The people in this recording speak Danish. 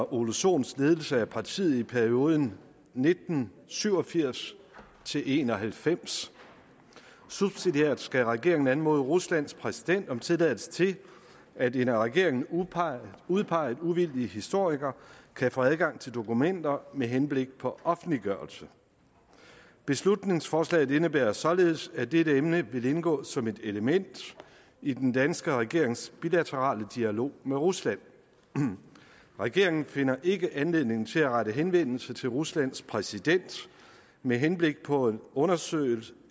ole sohn ledelse af partiet i perioden nitten syv og firs til en og halvfems subsidiært skal regeringen anmode ruslands præsident om tilladelse til at en af regeringen udpeget udpeget uvildig historiker kan få adgang til dokumenter med henblik på offentliggørelse beslutningsforslaget indebærer således at dette emne vil indgå som et element i den danske regerings bilaterale dialog med rusland regeringen finder ikke anledning til at rette henvendelse til ruslands præsident med henblik på en undersøgelse